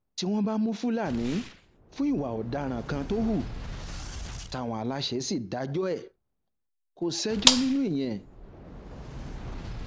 tí wọn bá mú fúlàní fún ìwà ọdaràn kan tó hù táwọn aláṣẹ sì dájọ ẹ kò ṣẹjọ nínú ìyẹn